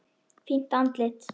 Fínt andlit?